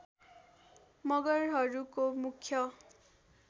मगरहरूको मुख्य